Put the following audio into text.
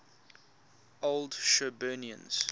old shirburnians